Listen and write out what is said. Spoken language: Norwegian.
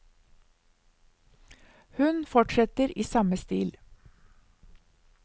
Hun fortsetter i samme stil.